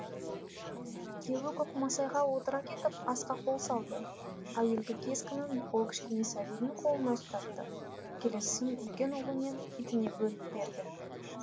күйеуі көкмайсаға отыра кетіп асқа қол салды әуелгі кескенін ол кішкене сәбидің қолына ұстатты келесісін үлкен ұлы мен итіне бөліп берді